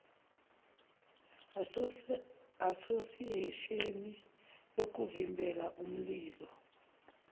asosiyesheni yokuvimbela imililo